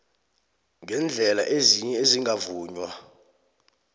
ngeendlela ezinye ezingavunywa